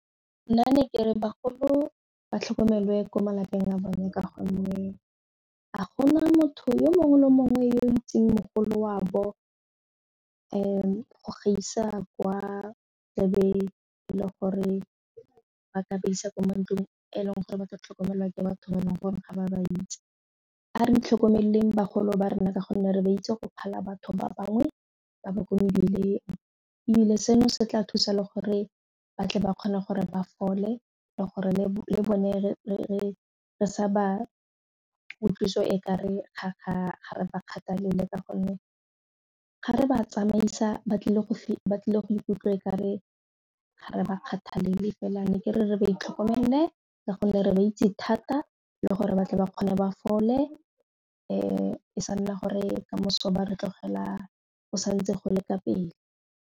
Nna ne ke re bagolo ba tlhokomelwe ko malapeng a bone ka gonne ga gona motho yo mongwe le mongwe yo o itseng mogolo wa bo go gaisa kwa tlebe e le gore ba ka ba isa kwa mantlong e leng gore ba ka tlhokomelwa ke batho ba e leng gore ga ba ba itse. A re itlhokomeleng bagolo ba rona ka gonne re ba itse go phala batho ba bangwe ba ba kwa mebileng ebile seno se tla thusa le gore batle ba kgone gore ba fole le gore le bone re sa ba utlwisiwe e ka re kgakgamatse ba kgathalele ka gonne ga re ba tsamaisa ba tlile go ba tlile go ikutlwe kare ga re ba kgathale fela ne ke re re ba itlhokomele ka gonne re ba itse thata le gore batle ba kgone ba fole e sa nna gore ka moso ba re tlogela go sa ntse go le ka pele.